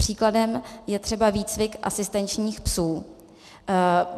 Příkladem je třeba výcvik asistenčních psů.